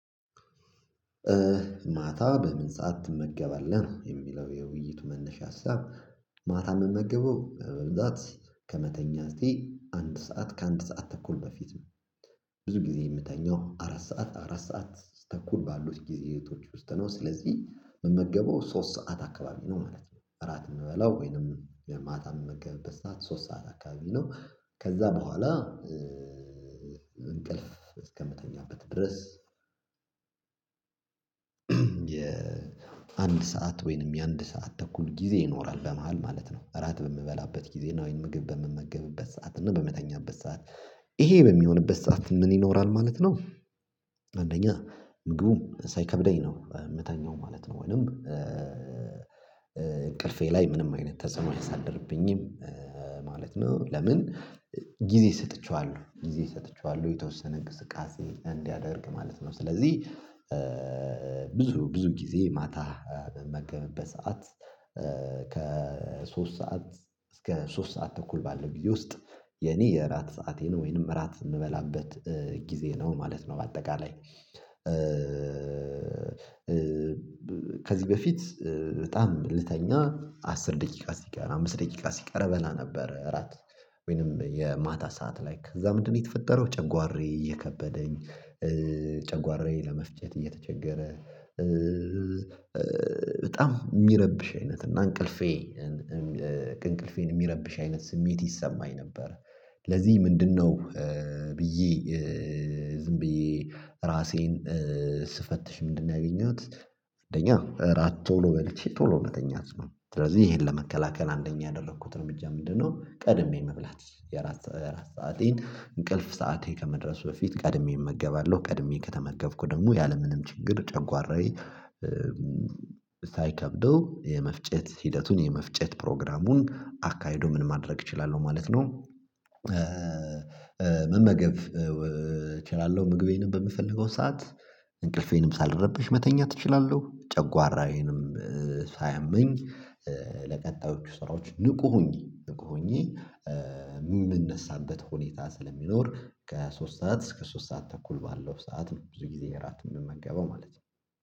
ማታ በምን ሰዓት ትመገባለህ የሚለው የውይይቱ መነሻ ሀሳብ? ማታ የምመገበው እንደዛ ከመተኛ እስቲ አንድ ሰዓት ከአንድ ሰዓት ተኩል በፊት ነው። ብዙ ጊዜ የምተኛው አራት ሰዓት አራት ሰዓት ተኩል ባሉት ጊዜ እህቶች ውስጥ ነው ስለዚህ መመገበው ሶስት ሰዓት አካባቢ ነው ማለት ነው። እራት የምበላው ወይንም የማታ መመገብ በሰአት ሶስት ሰዓት አካባቢ ነው። ከዛ በኋላ እንቅልፍ እስከምተኛበት ድረስ የአንድ ሰዓት ወይንም የአንድ ሰዓት ተኩል ጊዜ ይኖራል በመሃል ማለት ነው። እራት በምበላበት ጊዜ ናዊን ምግብ በምመገብበት ሰዓት እና በምተኛበት ሰዓት ይሄ በሚሆንበት ሰዓት ምን ይኖራል ማለት ነው? አንደኛ ምግቡ ሳይከብደኝ ነው የምታኘው ማለት ነው። ወይንም እንቅልፌ ላይ ምንም አይነት ተጽዕኖ አያሳድርብኝም ማለት ነው። ለምን ጊዜ ሰጥቼዋለሁ ጊዜ ሰጥቼዋለሁ የተወሰነ እንቅስቃሴ እንዲያደርግ ማለት ነው። ስለዚህ ብዙ ብዙ ጊዜ ማታ መገብበት ሰዓት ከሶስት ሰዓት እስከ ሶስት ሰዓት ተኩል ባለው ጊዜ ውስጥ የኔ የእራት ሰዓቴ ነው ወይንም እራት የምበላበት ጊዜ ነው ማለት ነው። በአጠቃላይ ከዚህ በፊት በጣም ልተኛ አስር ደቂቃ ሲቀር አምስት ደቂቃ ሲቀር በላ ነበር። እራት ወይንም የማታ ሰዓት ላይ እዛ ምንድነው? የተፈጠረው ጨጓሬ እየከበደኝ ጨጓሬ ለመፍጨት እየተቸገረ በጣም የሚረብሽ አይነት እና እንቅልፌ እንቅልፌን የሚረብሽ አይነት ስሜት ይሰማኝ ነበር። ለዚህ ምንድነው? ብዬ ዝም ብዬ ራሴን ስፈትሽ ምንድነው ያገኘሁት? አንደኛ እራት ቶሎ በልቼ ቶሎ እውነተኛ አስማ ስለዚህ ይሄን ለመከላከል አንደኛ ያደረኩት እርምጃ ምንድነው? ቀድሜ መብላት የራስ ሰአቴን እንቅልፍ ሰዓቴ ከመድረሱ በፊት ቀድሜ እመገባለሁ ቀድሜ ከተመገብኩ ደግሞ ያለምንም ችግር ጨጓራዬ ሳይከብደው የመፍጨት ሂደቱን የመፍጨት ፕሮግራሙን አካሂዶ ምን ማድረግ እችላለሁ ማለት ነው። መመገብ እችላለሁ ምግቤንም በምፈልገው ሰዓት እንቅልፌንም ሳልረብሽ መተኛት እችላለሁ። ጨጓራዬንም ሳያመኝ ለቀጣዮቹ ስራዎች ንቁ ሁኜ ንቁ ሁኜ የምንነሳበት ሁኔታ ስለሚኖር ከሶስት ሰዓት እስከ ሶስት ሰዓት ተኩል ባለው ሰዓት ብዙ ጊዜ እራት የምንመገበው ማለት ነው።